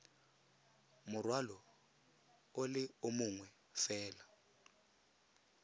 morwalo o le mongwe fela